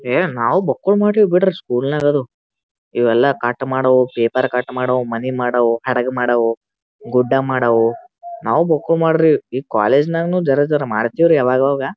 ಏ ನಾವು ಬಕ್ಕುಲ್ ಮಾದ್ರಿವಿ ಬಿಡಿ ಸ್ಕೂಲ್ನಾಗ್ ಅದು ಇವೆಲ್ಲ ಕಟ್ ಮಾಡವು ಪೇಪರ್ ಕಟ್ ಮಾಡವು ಮನಿ ಮಾಡವು ಹಡಗ ಮಾಡವು ಗುಡ್ಡ ಮಾಡವು ನಾವು ಬಕ್ಕುಳ ಮಾಡ್ರಿವಿ ಈ ಕಾಲೇಜ್ನಗನು ಜರಾ ಜರಾ ಮಾಡ್ತಿವಿ ರೀ ಅವಾಗ ಅವಾಗ--